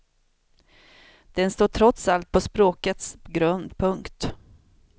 Den står trots allt på språkets grund. punkt